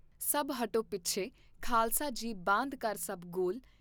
ਸਭ ਹਟੋ ਪੀਛੇ ਖਾਲਸ ਜੀ ਬਾਂਧ ਕਰ ਸਭ ਗੋਲ।